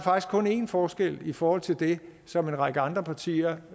én forskel i forhold til det som en række andre partier